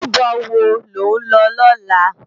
Ójúbò wó ló n lò lòlá?